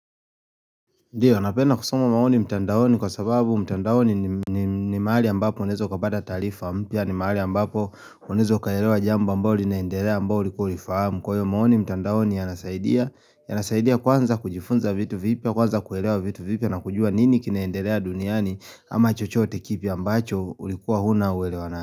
Ndio, napenda kusoma maoni mtandaoni kwa sababu mtandaoni nim nim ni mahali ambapo uneza ukapata taarifa, mpya ni mahali ambapo unawezo ukaelewa jambo ambalo linaendelea ambao ulikuwq ulifahamu. Kwa hiyo maoni mtandaoni yanasaidia, yanasaidia kwanza kujifunza vitu vipya, kwanza kuelewa vitu vipya na kujua nini kinaendelea duniani ama chochote tkipi ambacho ulikuwa huna uelewa na.